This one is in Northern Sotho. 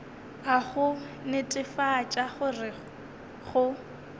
a go netefatša gore go